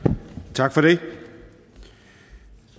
tak for det